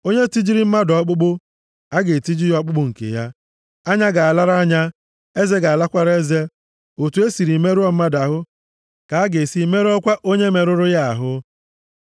Onye tijiri mmadụ ọkpụkpụ, a ga-etiji ọkpụkpụ nke ya. Anya ga-alara anya, eze ga-alakwara eze. Otu e si merụọ mmadụ ahụ, ka a ga-esi merụọkwa onye merụrụ ya ahụ.